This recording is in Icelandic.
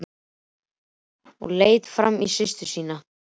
Hann nam staðar og leit framan í systur sína.